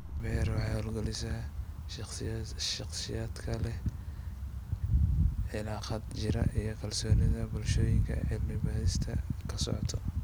PEER waxay hawlgelisaa shakhsiyaadka leh cilaaqaad jira iyo kalsoonida bulshooyinka ay cilmi-baadhistu ka socoto.